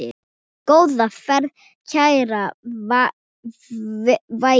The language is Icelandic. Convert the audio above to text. Góða ferð, kæra Veiga.